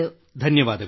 ಧನ್ಯವಾದಗಳು